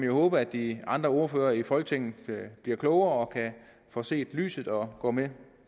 jo håbe at de andre ordførere i folketinget bliver klogere og får set lyset og går med